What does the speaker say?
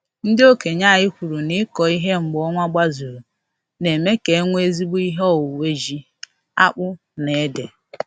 Ndị okenye anyị kwuru na ịkọ ihe mgbe ọnwa gbazuru na-eme ka enwe ezigbo ihe owuwe ji, akpụ na ede